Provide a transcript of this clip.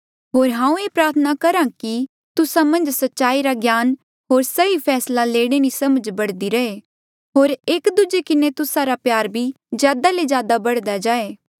होर हांऊँ ये प्रार्थना करहा कि तुस्सा मन्झ सच्चाई रा ज्ञान होर सही फैसला लेणे री समझ बढ़दी रहे होर एक दूजे किन्हें तुस्सा रा प्यार भी ज्यादा ले ज्यादा बढ़दे जाए